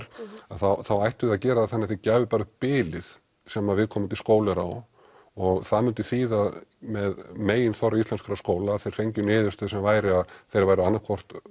þá ættuð þið að gera það þannig að þið gæfuð bara upp bilið sem viðkomandi skóli er á og það myndi þýða með meginþorra íslenskra skóla að þeir fengju niðurstöðu sem væri að þeir væru annað hvort